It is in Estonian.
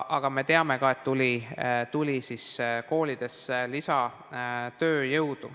Aga me teame ka, et koolidesse tuli lisatööjõudu.